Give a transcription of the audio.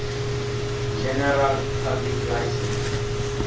general public license